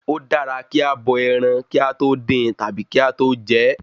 Ó dára kí a bọ ẹran kí a tó dín tàbí kí a tó jẹ ẹ́